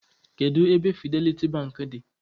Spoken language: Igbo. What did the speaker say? Kedụ ebe Fidelity Bank dị?